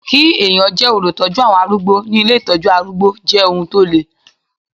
Kí ẹ̀yàn jẹ́ olùtọ́jú àwọn arúgbó ní ilé Ìtọ́jú arúgbó jẹ́ ohun tó le.